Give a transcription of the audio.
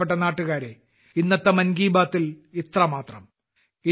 എന്റെ പ്രിയപ്പെട്ട നാട്ടുകാരേ ഇന്നത്തെ മൻ കി ബാത്തിൽ ഇത്രമാത്രം